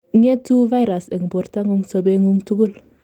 ngetu virus en bortangung sobengung tugul